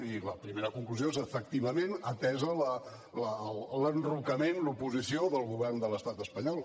i la primera conclusió és efectivament atès l’enrocament l’oposició del govern de l’estat espanyol